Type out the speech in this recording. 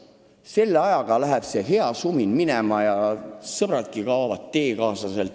Selle ajaga hea sumin lahtub ja sõbrad teekaaslased kaovad.